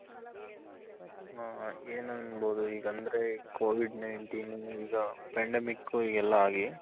ಆ ಏನ್ ಅನ್ಬೋದು ಈಗ ಅಂದ್ರೆ covid ninteen ಈಗ pandemic ಎಲ್ಲ ಆಗಿ